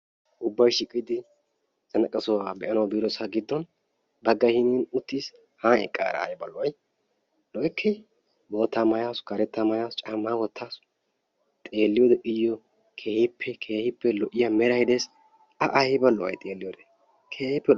ubbay shiiqidi zannaqa sohuwaa be'anawu biidosan bagay hinin uttiis, han eaara aybba lo'ay? lo'ekkee? bootaa wotaasu karetaa maayasu iyoo meray aybba lo'ii? a aybba lo'ay xeeliyode.